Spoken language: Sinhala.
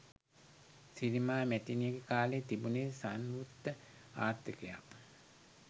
සිරිමා මැතිනිගෙ කාලෙ තිබුනෙ සංවෘත ආර්ථකයක්